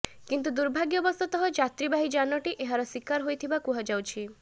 କିନ୍ତୁ ଦୁର୍ଭାଗ୍ୟବଶତଃ ଯାତ୍ରୀବାହୀ ଯାନଟି ଏହାର ଶିକାର ହୋଇଥିବା କୁହାଯାଉଛି